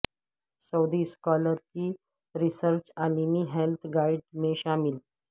سعودی scholar کی research عالمی health guide میں شامل